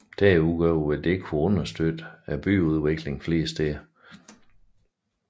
Desuden vil det kunne understøtte byudviklingen flere steder